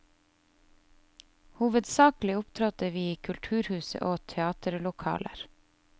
Hovedsakelig opptrådte vi i kulturhus og teaterlokaler.